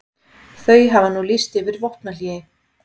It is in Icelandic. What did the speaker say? Þau hafa nú lýst yfir vopnahléi